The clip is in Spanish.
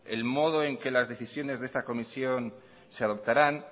en modo en que las decisiones de esta comisión se adoptarán